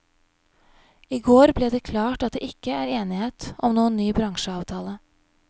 I går ble det klart at det ikke er enighet om noen ny bransjeavtale.